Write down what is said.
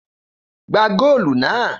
Gbá góòlù náà!